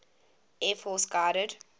air force guided